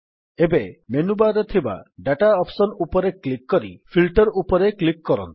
ଏବେ ମେନୁବାର୍ ରେ ଥିବା ଦାତା ଅପ୍ସନ୍ ଉପରେ କ୍ଲିକ୍ କରି ଫିଲ୍ଟର ଉପରେ କ୍ଲିକ୍ କରନ୍ତୁ